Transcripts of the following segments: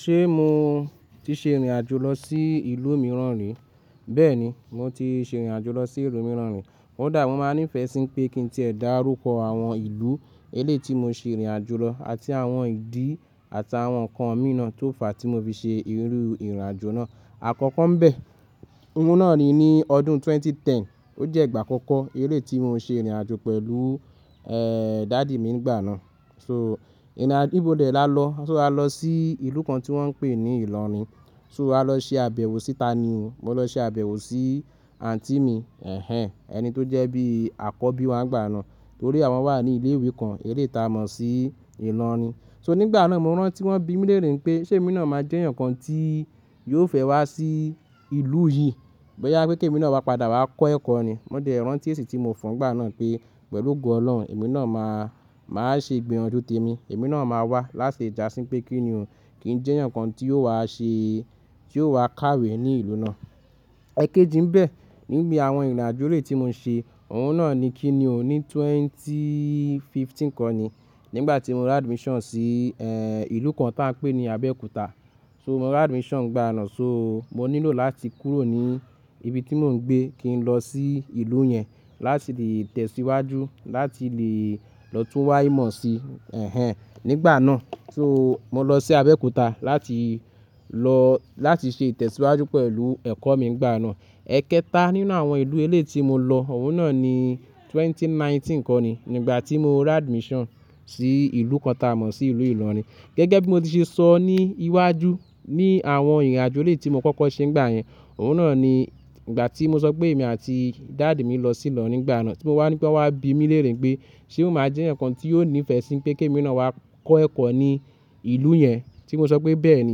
Ṣé mo ti ṣe ìrìnàjò lọ sí ìlú mìíràn rí? Bẹ́ẹ̀ni, mo ti ṣe ìrìnàjò lọ sí ìlú mìíràn rí. Kodà mo máa ní ìfẹ́ sí n pé kí n tí ẹ̀ dá rúkọ àwọn ìlú elé ti mo ṣe ìrìnàjò lọ àti àwọn ìdí àtàwọn ǹkan míràn tó fà tí mo fi ṣe irú ìrìnàjò náà. Àkọ́kọ́ ńbẹ̀, òun náà ni ní ọdún 2010, ó jẹ́ ìgbà àkọ́kọ́ èlè tí mo ṣe ìrìnàjò pẹ̀lú, ehr, daddy mi nígbà náà. So, ìrìnàjo--i bí dé là lọ, so a lọ sí ìlú kan tí wọ́n ń pè ní Ìlọrin. So a lọ ṣe àbẹ̀wò síta ni, mo lọ ṣe àbẹ̀wò sí aunty mi, ẹ̀hen, ẹni tó jẹ́ bí àkọ́bí wa nígbà náà, torí àwọn wà ní ilé ìwé kan, elé ti a mọ̀ sí Ìlọrin. So nígbà náà mo rántí wọ́n bí mi léère npé ṣé èmi náà máa jẹ́ èèyàn kan tí yóò fẹ́ wá sí ìlú yìí. Boyá pé kí èmi náà wá padà wá kọ́ ẹ̀kọ́ ni. Mo de rántí èsì tí mo fọ n gbà náà pé pẹ̀lú ogo Ọlọ́run, èmi náà máa, máa ṣe ìgbìyànjú te mi. Èmi náà máa wá láti dà sí pé kí ni o, kí n jẹ́ ǹkan tí yóò wá ṣe, tí yóò wá kàwé ní ìlú náà. Ẹ̀kéjì ńbẹ̀, níbi àwọn ìrìnàjò elé ti mo ń ṣe, òun náà ni kí ni o ní 2015 kọ́ ni. Nígbà tí mo ra admission sí, ehr, ìlú kan táa ń pè ní Abẹ́òkúta. So mo ra admission gbà náà, so mo nílò láti kúrò ní ibi tí mo ń gbé kí n lọ sí ìlú yẹn, láti lè tẹ̀síwájú, láti lè lọ tún wáímọ̀ sí, ẹ̀hen, nígbà náà. So mo lọ sí Abẹ́òkúta láti lọ, láti ṣe ìtẹ̀síwájú pẹ̀lú ẹ̀kọ́ mi ngbà náà. Ẹ̀kẹta nínú àwọn ìlú elé tí mo lọ, òun náà ni 2019 kọ́ ni. Nígbà tí mo ra admission sí ìlú kan táa mọ̀ sí ìlú Ilorin. Gẹ́gẹ́ bí mo ti ṣe sọ ní iwájú, ní àwọn ìrìnàjò elé tí mo kọ́kọ́ ṣe nígbà yẹn, òun náà ni ìgbà tí mo sọ pé èmi àti daddy mi lọ sí Ilorin nígbà náà. Tí mo wá ní pé wọ́n wá bí mi léère pé ṣé máa jẹ́ ǹkan tí yóò ní ìfẹ́ sí pé kí èmi náà wá kọ́ ẹ̀kọ́ ní ìlú yẹn. Tí mo sọ pé bẹ́ẹ̀ ni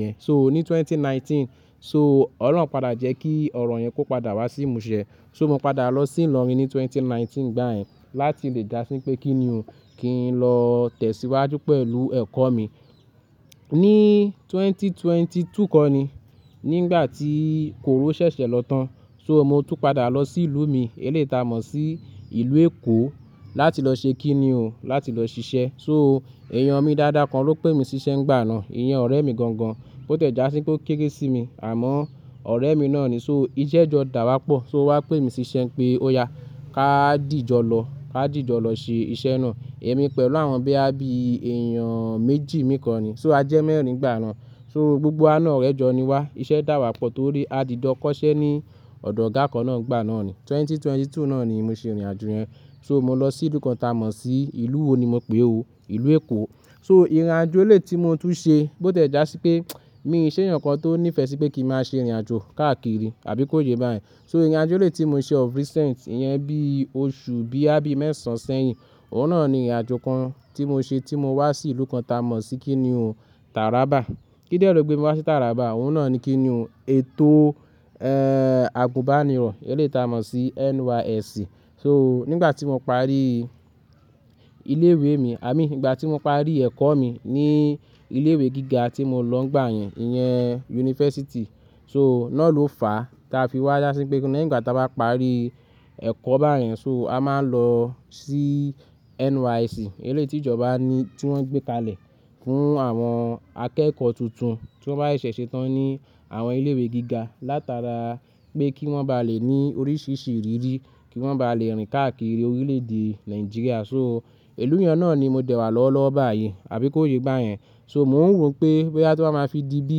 ìyẹn. So ní 2019, so Ọlọ́run pada jẹ́ kí ọ̀rọ̀ yẹn kó padà wá sí ìmúṣẹ. So mo padà lọ sí Ilorin ní 2019 ngbà yẹn láti lè dà sí pé kí ni o, kí n lọ tẹ̀síwájú pẹ̀lú ẹ̀kọ́ mi. Ní 2022 kọ́ ni, nígbà tí kòró ṣẹ̀ṣẹ̀ lọ tán. So mo tún padà lọ sí ìlú mi elé ti a mọ̀ sí ìlú Èkó láti lọ ṣe kí ni o, láti lọ ṣiṣẹ́. So èèyàn mi dáadáa kan ló pè mí síṣẹ́ nígbà náà, ìyẹn ọ̀rẹ́ mi gan gan. Bó tiẹ̀já sí pé ó kékére sí mi, àmọ́ ọ̀rẹ́ mi náà ni. So iṣẹ́ jọ dà wá pọ̀, so owá pè mí síṣẹ́ pé ó ya, ká dìjọ lọ, ká dìjọ lọ ṣe iṣẹ́ náà. Èmi pẹ̀lú àwọn boya bí èèyàn méjì mìí kọ́ ni. So a jẹ́ mẹ́ẹ̀rín gbà náà. So gbogbo a náà ọ̀rẹ́ jọ ni wá. Iṣẹ́ dà wá pọ̀ torí a dìdọ́ kọ́ṣẹ́ ní ọ̀dọ̀ ọ̀gá kan náà nígbà náà ni. 2022 náà ni mo ṣe ìrìnàjò yẹn. So mo lọ sí ìlú kan táa mọ̀ sí ìlú wo ni mo pè é o, ìlú Èkó. So ìrìnàjò elé ti mo tún ṣe, bó tiẹ̀já sí pé mi ṣe èèyàn ǹkan tó nífẹ̀ẹ́ sí pé kí n máa ṣe ìrìnàjò káàkiri àbí kó ye báyẹ̀n. So ìrìnàjò elé tí mo ṣe of recent iyẹn bí oṣù bíyàbí mẹ́sàn-án sẹ́yìn, òun náà ni ìrìnàjò kan tí mo ṣe tí mo wá sí ìlú kan táa mọ̀ sí kí ni o, Taraba. Kídélo gbé mi wá sí Taraba, òun náà ni kí ni o, ètò, ehr, àgùnbánirọ̀ elé ti a mọ̀ sí NYSC. So nígbà tí mo parí ilé ìwé mi, ia mean nígbà tí mo parí ẹ̀kọ́ mi ní ilé ìwé gíga tí mo lọ gbà yẹn, ìyẹn yunifásítì. So náà ló fà táa fi wá já sí pé nígbà tí a bá parí ẹ̀kọ́ báyẹ̀n so a máa ń lọ sí NYSC, elé tí ìjọba ní tí wọ́n ń gbé kalẹ̀ fún àwọn akẹ́kọ̀ọ́ tuntun tí wọ́n bá ṣẹ̀ṣẹ̀ ṣe tán ní àwọn ilé ìwé gíga, látara pé kí wọ́n bá lè ní oríṣiríṣi ìrírí, kí wọ́n bá lè rìn káàkiri orílẹ̀ èdè Nàìjíríà. So ìlú yẹn náà ni mo dẹ̀ wà lọ́wọ́ lọ́wọ́ báyìí, àbí kó ye bà yẹn. So mò ń rò pé bóyá to ba ma fi di bí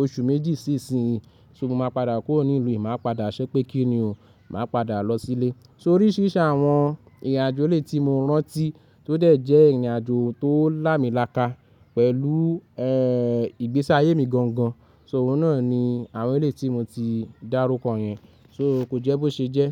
oṣù méjì sí ìsinyìí, so mo máa padà kúrò ní ìlú yìí, màá padà ṣẹ́ pé kí ni o, màá padà lọ sílé. So oríṣiríṣi àwọn ìrìnàjò elé tí mo rántí tó dẹ̀ jẹ́ ìrìnàjò tó là mí láka pẹ̀lú, ehr, ìgbésí ayé mi gan gan. So òun náà ni àwọn elé ti mo ti dá rúkọ yẹn. So ko jẹ́ bó ṣe jẹ́.